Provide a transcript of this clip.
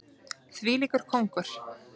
Þvílíkur kóngur!